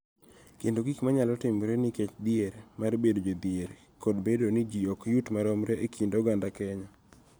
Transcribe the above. Kendo gik ma nyalo timore nikech dhier mar bedo jodhier kod bedo ni ji ok yuti maromre e kind oganda Kenya.